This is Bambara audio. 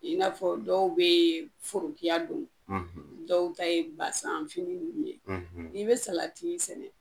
I n'a fɔ dɔw be forokiya don dɔw ta ye basan fini nunnu ye . Ni be salati sɛnɛ